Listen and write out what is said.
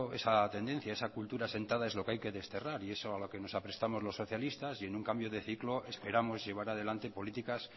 esa tendencia esa cultura sentada es lo que hay que desterrar y eso es a lo que nos aprestamos los socialistas y en un cambio de ciclo esperamos llevar adelante políticas